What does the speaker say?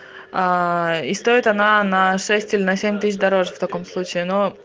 и стоит она на шесть или на семь тысяч дороже в таком случае но